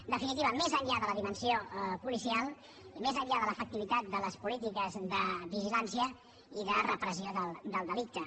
en definitiva més enllà de la dimensió policial més enllà de l’efectivitat de les polítiques de vigilància i de repressió del delicte